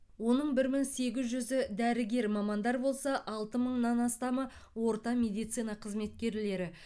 оның бір мың сегіз жүзі дәрігер мамандар болса алты мыңнан астамы орта медицина қызметкерлері